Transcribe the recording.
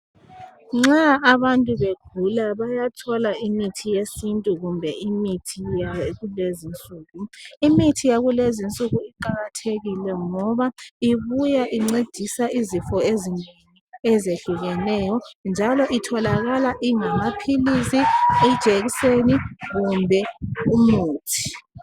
Nxa abantu begula bayathola imithi yesintu kumbe imithi yakulezinsuku. Imithi yakulezinsuku iqalathekile ngoba ibuya incedisa izifo ezihlukeneyo njalo itholakala ingamaphilizi, ijekiseni kumbe umuthi.